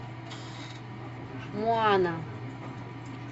моана